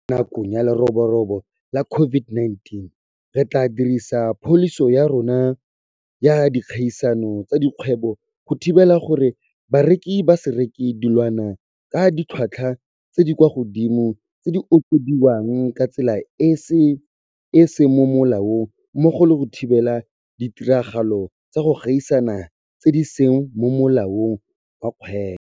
Fela jaaka re dirile mo nakong ya leroborobo la COVID-19, re tla dirisa pholisi ya rona ya dikgaisano tsa dikgwebo go thibela gore bareki ba se reke dilwana ka ditlhotlhwa tse di kwa godimo tse di okediwang ka tsela e e seng mo molaong mmogo le go thibela ditiragalo tsa go gaisana tse di seng mo molaong wa dikgwebo.